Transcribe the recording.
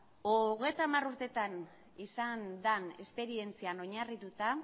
hogeita hamar urteetan izan den esperientzian oinarrituta